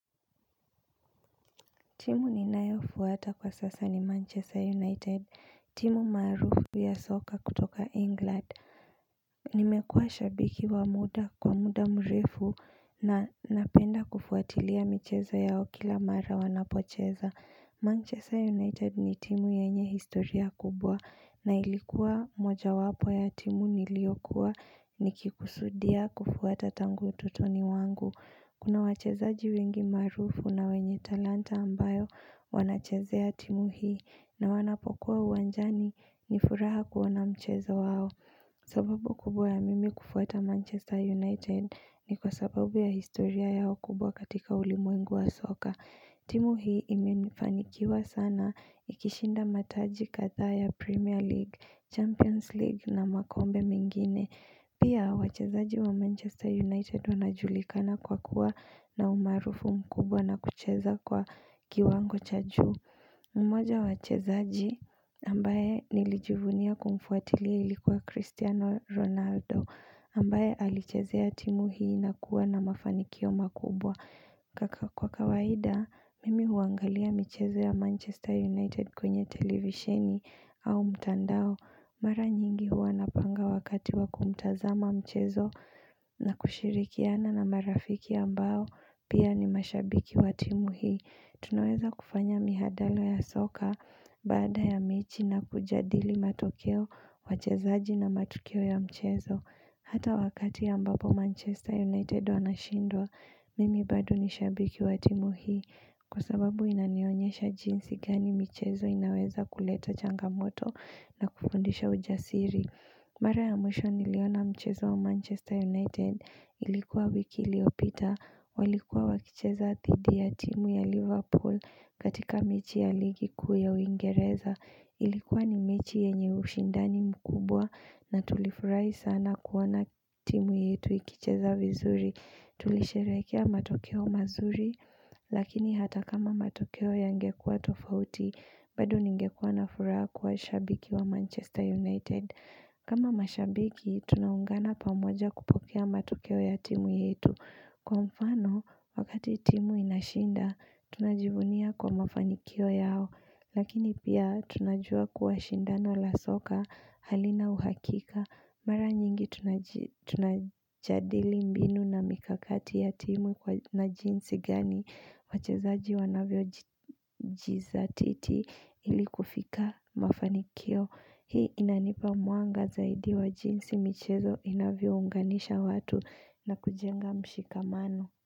Timu ni nayo fuata kwa sasa ni manchester united timu maarufu ya soka kutoka England Nimekuwa shabiki wa muda kwa muda mrefu na napenda kufuatilia micheza yao kila mara wanapocheza Manchester United ni timu yenye historia kubwa na ilikuwa moja wapo ya timu niliokuwa ni kikusudia kufuata tangu tutoni wangu. Kuna wachezaji wengi marufu na wenye talanta ambayo wanachezea timu hii na wanapokuwa uwanjani ni furaha kuona mchezo wao. Sababu kubwa ya mimi kufuata Manchester United ni kwa sababu ya historia yao kubwa katika ulimuengu wa soka. Timu hii imifanikiwa sana ikishinda mataji katha ya Premier League, Champions League na makombe mingine. Pia wachezaji wa Manchester United wanajulikana kwa kuwa na umarufu mkubwa na kucheza kwa kiwango chaju. Mmoja wachezaji ambaye nilijuvunia kumfuatili ilikuwa Cristiano Ronaldo ambaye alichezea timu hii na kuwa na mafanikio makubwa. Kwa kawaida, mimi huangalia mchezea Manchester United kwenye televisheni au mtandao. Mara nyingi huwa napanga wakati wa kumtazama mchezo na kushirikiana na marafiki ambao pia ni mashabiki wa timu hii. Tunaweza kufanya mihadalo ya soka bada ya michi na kujadili matokeo, wachezaji na matukio ya mchezo. Hata wakati ya mbapo Manchester United wanashindwa, mimi badu nishabiki wa timu hii. Kwa sababu inanionyesha jinsi gani mchezo inaweza kuleta changamoto na kufundisha ujasiri. Mara ya mwisho niliona mchezoa Manchester United ilikuwa wiki iliopita walikuwa wakicheza thidi ya timu ya Liverpool katika mechi ya ligi kuya uingereza ilikuwa ni michi yenye ushindani mkubwa na tulifurai sana kuwana timu yetu ikicheza vizuri tulisherekea matokeo mazuri lakini hata kama matokeo ya ngekua tofauti bado ngekua na fura kwa shabiki wa Manchester United kama mashabiki, tunaungana pamoja kupokea matokeo ya timu yetu. Kwa mfano, wakati timu inashinda, tunajivunia kwa mafanikio yao. Lakini pia, tunajua kuwa shindano la soka halina uhakika. Mara nyingi tunajadili mbinu na mikakati ya timu na jinse gani. Wachezaji wanavyo jizatiti ili kufika mafanikio. Hii inanipa muanga zaidi wa jinsi michezo inavyo unganisha watu na kujenga mshikamano.